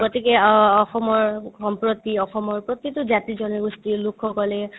গতিকে অ ~ অসমৰ সম্প্ৰতি অসমৰ প্ৰতিতো জাতি-জনগোষ্ঠিৰ লোকসকলে